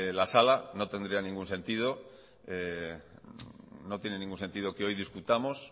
la sala no tendría ningún sentido no tiene ningún sentido que hoy discutamos